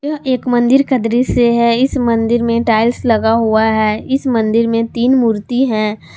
यह एक मंदिर का दृश्य है इस मंदिर में टाइल्स लगा हुआ है इस मंदिर में तीन मूर्ति है।